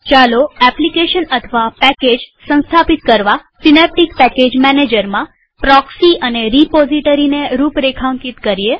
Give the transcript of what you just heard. ચાલો એપ્લીકેશન અથવા પેકેજ સંસ્થાપિત કરવા સીનેપ્ટીક પેકેજ મેનેજરમાં પ્રોક્સી અને રીપોઝીટરીને રૂપરેખાંકિત કરીએ